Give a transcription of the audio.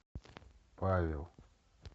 павел